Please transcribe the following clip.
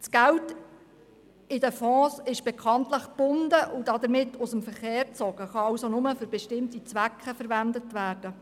Das Geld ist in den Fonds bekanntlich gebunden und damit aus dem Verkehr gezogen, es kann also nur für bestimmte Zwecke verwendet werden.